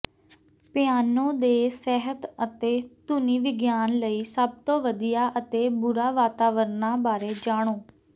piano ਦੇ ਸਿਹਤ ਅਤੇ ਧੁਨੀ ਵਿਗਿਆਨ ਲਈ ਸਭ ਤੋਂ ਵਧੀਆ ਅਤੇ ਬੁਰਾ ਵਾਤਾਵਰਣਾਂ ਬਾਰੇ ਜਾਣੋ